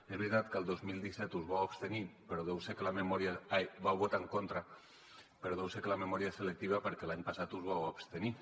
és veritat que el dos mil disset us vau abstenir però deu ser que la memòria ah hi vau votar en contra però deu ser que la memòria és selectiva perquè l’any passat us vau abstenir